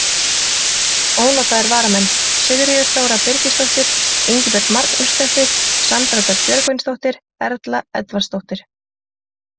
Ónotaðir varamenn: Sigríður Þóra Birgisdóttir, Ingibjörg Magnúsdóttir, Sandra Dögg Björgvinsdóttir, Erla Edvardsdóttir.